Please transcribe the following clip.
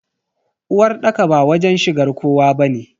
Uwarɗaka ba wajen shigar kowa bane.